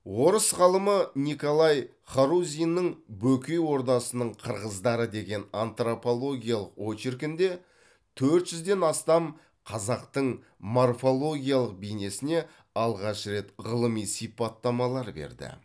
орыс ғалымы николай харузиннің бөкей ордасының қырғыздары деген антропологиялық очеркінде төрт жүзден астам қазақтың морфологиялық бейнесіне алғаш рет ғылыми сипаттамалар берді